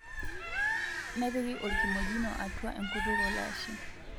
Nepiki orkimojino atwa enkutuk olashe,